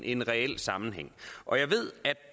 en reel sammenhæng og jeg ved at